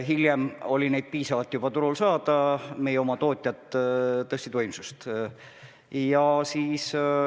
Hiljem oli neid turul juba piisavalt saada, meie oma tootjad tõstsid võimsust.